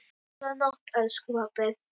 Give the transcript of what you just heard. Góða nótt, elsku pabbi.